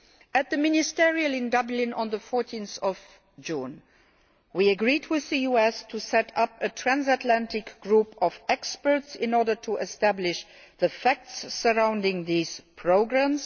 At the Ministerial Meeting in Dublin on 14 June, we agreed with the US to set up a transatlantic group of experts in order to establish the facts surrounding these programmes.